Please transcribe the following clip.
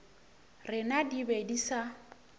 rena di be di sa